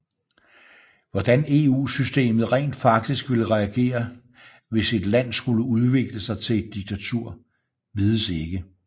Hvordan EU systemet rent faktisk vil reagere hvis et land skulle udvikle sig til et diktatur vides ikke